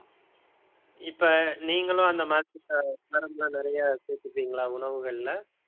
இப்ப நீங்களும் அந்த மாதிரி அஹ் காரம் எல்லாம் நிறைய சேர்த்துப்பீங்களா உணவுகள்ல